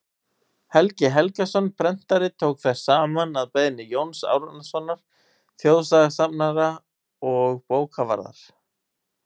helgi helgason prentari tók þær saman að beiðni jóns árnasonar þjóðsagnasafnara og bókavarðar